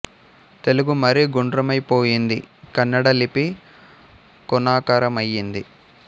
తెలుగు మరీ గుండ్రమై పోయింది కన్నడ లిపి కోణాకార మయ్యింది